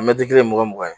Mɛtiri kelen mugan mugan